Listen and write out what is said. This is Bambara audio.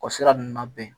O sira ninnu labɛn